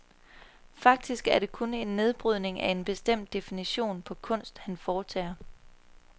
Faktisk er det kun en nedbrydning af en bestemt definition på kunst, han foretager.